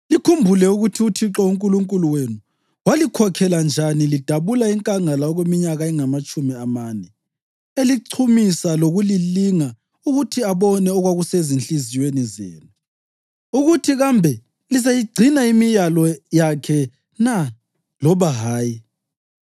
Likhumbule ukuthi uThixo uNkulunkulu wenu walikhokhela njani lidabula inkangala okweminyaka engamatshumi amane, elichumisa lokulilinga ukuthi abone okwakusezinhliziyweni zenu, ukuthi kambe lizayigcina imiyalo yakhe na loba hayi.